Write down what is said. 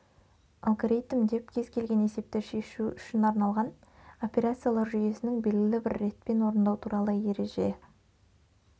алгоритм деп кез-келген есепті шешу үшін арналған операциялар жүйесінің белгілі бір ретпен орындау туралы ереже